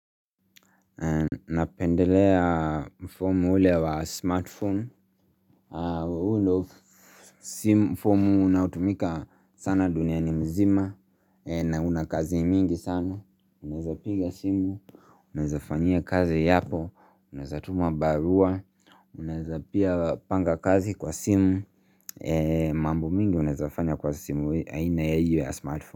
Napendelea mfumu ule wa smartphone huu ndio simu mfumu unaotumika sana duniani mzima. Na una kazi mingi sana. Unaeza piga simu, unazafanyia kazi yako, unaezatuma barua na unaeza pia panga kazi kwa simu. Mambo mingi unaeza fanya kwa simu hii aina ya hio ya smartphone.